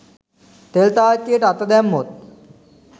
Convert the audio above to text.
තෙල් තාච්චියට අත දැම්මොත්